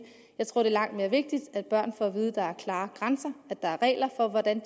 jeg tror er langt mere vigtigt at børn får at vide at der er klare grænser at der er regler for hvordan